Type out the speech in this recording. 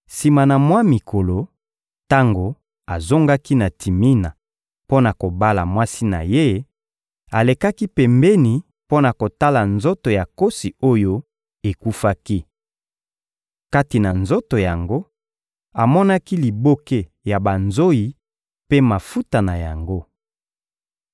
Sima na mwa mikolo, tango azongaki na Timina mpo na kobala mwasi na ye, alekaki pembeni mpo na kotala nzoto ya nkosi oyo ekufaki. Kati na nzoto yango, amonaki liboke ya banzoyi mpe mafuta na yango.